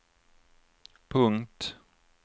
punkt